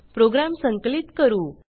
program संकलित करू